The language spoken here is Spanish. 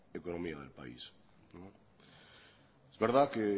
economía del país es verdad que